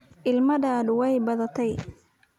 Ilmadaadu way badan tahay.